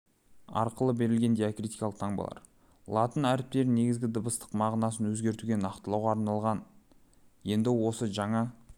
арқылы берілген диакритикалық таңбалар латын әріптерінің негізгі дыбыстық мағынасын өзгертуге нақтылауға арналған енді осы жаңа